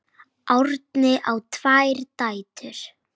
Árni á tvær dætur.